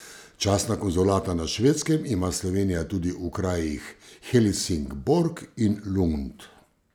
Častna konzulata na Švedskem ima Slovenija tudi v krajih Helsingborg in Lund.